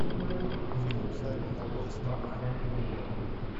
фильм саймона веста мы